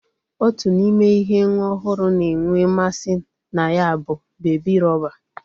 Otu n'ime ihe nwa ohuru na-enwe mmasi na ya bu bebi rọba.